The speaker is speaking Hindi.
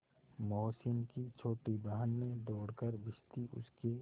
मोहसिन की छोटी बहन ने दौड़कर भिश्ती उसके